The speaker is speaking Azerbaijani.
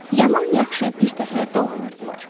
Yaman-yaxşı birtəhər dolanırdılar.